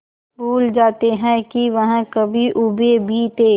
भूल जाते हैं कि वह कभी ऊबे भी थे